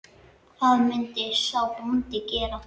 Hvað myndi sá bóndi gera?